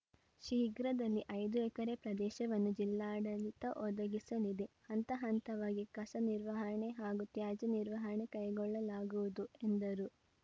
ಶೀಘ್ರದಲ್ಲಿ ಐದು ಎಕರೆ ಪ್ರದೇಶವನ್ನು ಜಿಲ್ಲಾಡಳಿತ ಒದಗಿಸಲಿದೆ ಹಂತ ಹಂತವಾಗಿ ಕಸ ನಿರ್ವಹಣೆ ಹಾಗೂ ತ್ಯಾಜ್ಯ ನಿರ್ವಹಣೆ ಕೈಗೊಳ್ಳಲಾಗುವುದು ಎಂದರು